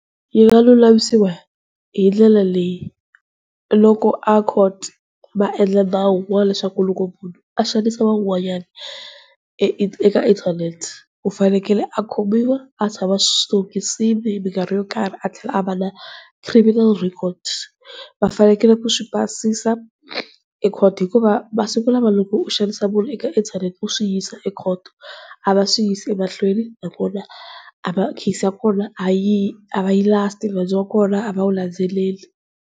Yi nga lulamisiwa hindlela leyi loko a court vaendla nawu, wa leswaku loko munhu a xanisa van'wanyana e eka inthanete u fanekele a khomiwa a tshama switokisini mikarhi yo karhi, a tlhela a va na criminal record. Vafanekele ku swi basisa ekhoto hikuva masiku lawa loko u xanisa munhu eka inthanete u swi yisa ekhoto a va swi yisi emahlweni nakona case ya kona a yi last-i nandzu wa kona a va wu landzeleli.